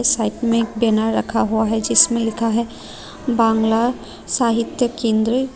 Side में एक banner रखा हुआ है जिसमें लिखा है बांग्ला साहित्य केंद्र।